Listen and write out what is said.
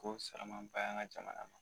Ko saramanba ye an ka jamana ma